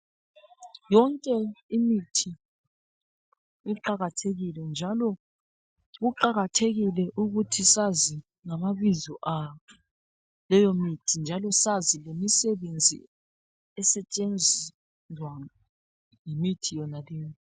Yonke imithi iqakathekile njalo kuqakathekile ukuthi sazi ngamabizo ago leyo mithi njalo sazi lemisebenzi esetshenzwa yimithi yonaleyo.